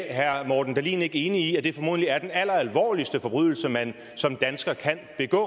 er herre morten dahlin ikke enig i at det formodentlig er den alleralvorligste forbrydelse man som dansker kan begå